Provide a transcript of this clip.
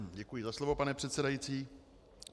Děkuji za slovo, pane předsedající.